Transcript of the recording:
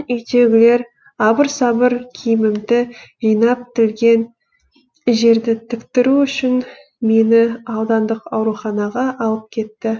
үйдегілер абыр сабыр киімімді жинап тілген жерді тіктіру үшін мені аудандық ауруханаға алып кетті